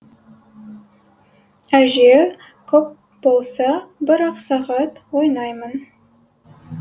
әже көп болса бір ақ сағат ойнаймын